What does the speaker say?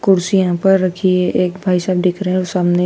कुर्सी यहां पर रखी है एक भाई साहब दिख रहे और सामने--